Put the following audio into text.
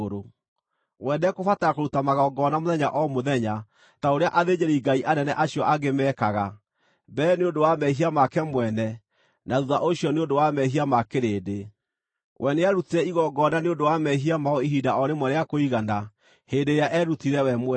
We ndekũbatara kũruta magongona mũthenya o mũthenya ta ũrĩa athĩnjĩri-Ngai anene acio angĩ meekaga, mbere nĩ ũndũ wa mehia make mwene, na thuutha ũcio nĩ ũndũ wa mehia ma kĩrĩndĩ. We nĩarutire igongona nĩ ũndũ wa mehia mao ihinda o rĩmwe rĩa kũigana hĩndĩ ĩrĩa eerutire we mwene.